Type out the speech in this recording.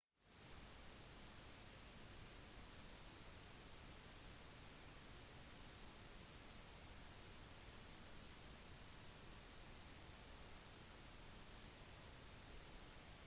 en verdensmesse vanligvis kalt verdenseksposisjon eller bare ekspo er stor internasjonal festival for kunst og vitenskap